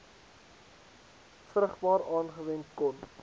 vrugbaar aangewend kon